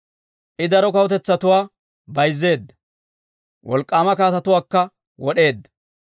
I daro kawutetsatuwaa bayzzeedda; wolk'k'aama kaatetuwaakka wod'eedda.